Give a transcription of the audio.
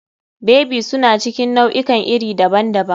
Baby suna cikin nau'ikan iri daban-daban.